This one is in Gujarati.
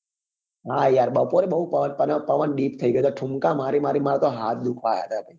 હા યાર બપોરે બઉ પવન deep થઇ ગયો હતો ઠુમકા મારી મારી ને મારા હાથ બી દુખવા આવ્યા હતા